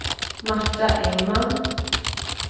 Marta Engman